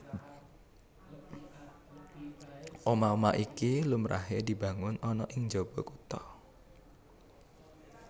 Omah omah iki lumrahé dibangun ana ing njaba kutha